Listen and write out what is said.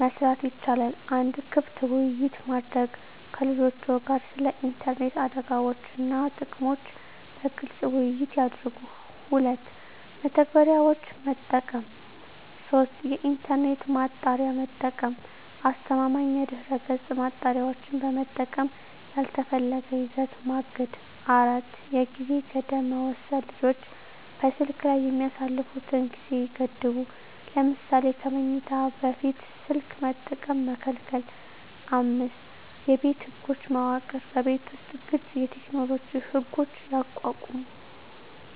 መስራት ይቻላል። 1. ክፍት ውይይት ማድረግ ከልጆችዎ ጋር ስለ ኢንተርኔት አደጋዎች እና ጥቅሞች በግልፅ ውይይት ያድርጉ። 2. መተግበሪያዎች መጠቀም 3. የኢንተርኔት ማጣሪያ መጠቀም አስተማማኝ የድህረገፅ ማጣሪያዎችን በመጠቀም ያልተፈለገ ይዘት ማገድ 4. የጊዜ ገደብ መወሰን ልጆች በስልክ ላይ የሚያሳልፉትን ጊዜ ይገድቡ። ለምሳሌ ከመኝታ በፊት ስልክ መጠቀም መከልከል። 5የቤት ህጎች መዋቅር በቤት ውስጥ ግልፅ የቴክኖሎጂ ህጎች ያቋቁሙ።